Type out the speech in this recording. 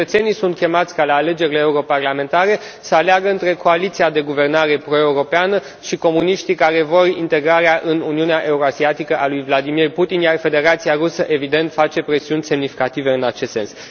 Cetățenii sunt chemați ca la alegerile europarlamentare să aleagă între coaliția de guvernare proeuropeană și comuniștii care vor integrarea în Uniunea Eurasiatică a lui Vladimir Putin, iar Federația Rusă, evident, face presiuni semnificative în acest sens.